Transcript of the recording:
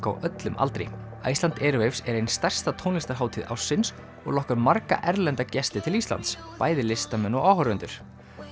á öllum aldri Iceland er ein stærsta tónlistarhátíð ársins og lokkar margra erlenda gesti til Íslands bæði listamenn og áhorfendur